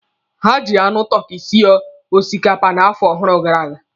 Ha ji anụ tọki sie osikapa n'afọ ọhụrụ gara aga.